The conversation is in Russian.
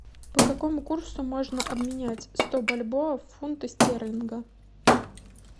по какому курсу можно обменять сто бальбоа в фунты стерлинга